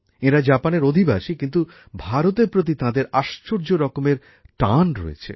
এঁরা জাপানের অধিবাসী কিন্তু ভারতের প্রতি এঁদের আশ্চর্য রকমের টান রয়েছে